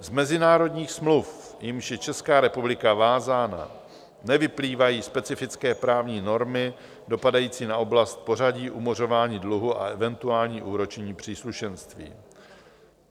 Z mezinárodních smluv, jimiž je Česká republika vázána, nevyplývají specifické právní normy dopadající na oblast pořadí umořování dluhu a eventuální úročení příslušenství.